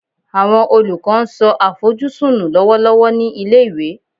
Awọn olukọ n so afojusun nu lọwọlọwọ ni ile-iwe